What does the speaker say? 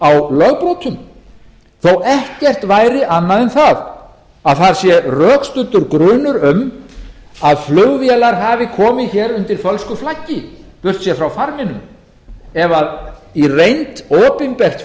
á lögbrotum þó ekkert væri annað en það sé rökstuddur grunur um að flugvélar hafi komið hér undir fölsku flaggi burtséð frá farminum ef í reynd opinbert